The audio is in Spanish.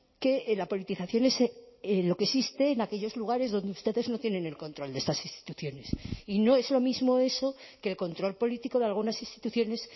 que la politización es lo que existe en aquellos lugares donde ustedes no tienen el control de estas instituciones y no es lo mismo eso que el control político de algunas instituciones